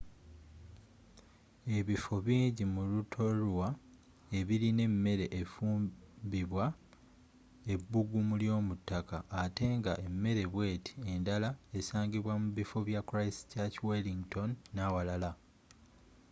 ebifo bingi mu rutorua ebilina emere efumbibwa ebbuggumu ly'omuttaka atte nga emere bweti endala esangibwa mu bifo bya christchurch wellington n'awalala